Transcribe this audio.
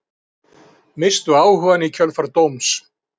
Misstu áhugann í kjölfar dóms